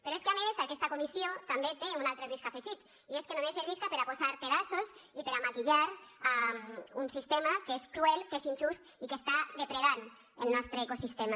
però és que a més aquesta comissió també té un altre risc afegit i és que només servisca per a posar pedaços i per a maquillar un sistema que és cruel que és injust i que està depredant el nostre ecosistema